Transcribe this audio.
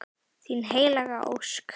Þín Helga Ósk.